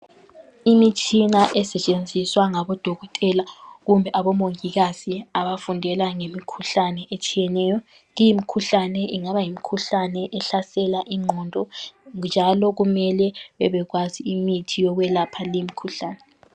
Imitshina esetshenziswa ngabo Dokotela kumbe aboMongikazi abafundela ngemikhuhlane etshiyeneyo limkhuhlane ingaba yimikhuhlane ehlasela ingqondo njalo kumele bebekwazi imithi yokwelapha limkhuhlane.